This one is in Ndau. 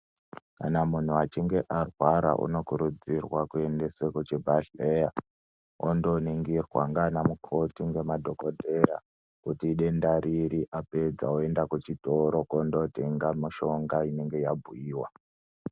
Kana muntu achinge arwara anokurudzirwa kuendeswa kuchibhedhlera ondoningirwa kuti idenda riri Ondotenga mishonga inenge yabhuiwa.